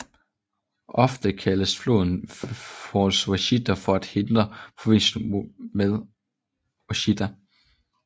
Ofte kaldes floden False Washita for at hindre forveksling med Ouashita